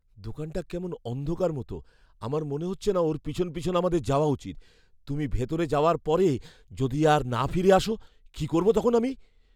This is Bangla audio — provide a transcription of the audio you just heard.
দোকানটা কেমন অন্ধকার মতো। আমার মনে হচ্ছে না ওর পিছন পিছন আমাদের যাওয়া উচিত। তুমি ভিতরে যাওয়ার পরে যদি আর না ফিরে আসো, কী করব তখন আমি?